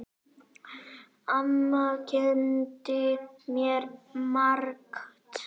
Amma kenndi mér margt.